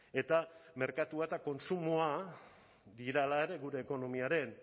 eta merkatua eta kontsumoa dira hala ere gure ekonomiaren